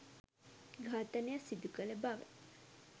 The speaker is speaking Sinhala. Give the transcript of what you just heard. ඝාතනය සිදුකළ බව